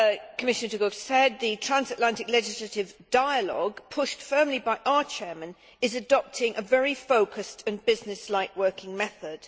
As Commissioner De Gucht said, the transatlantic legislative dialogue pushed firmly by our Chair is adopting a very focused and business like working method.